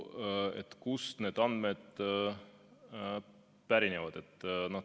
Sellest, kust need andmed pärinevad, oli komisjonis juttu.